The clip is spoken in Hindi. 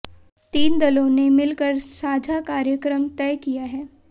तीनों दलों ने मिलकर साझा कार्यक्रम तय किया है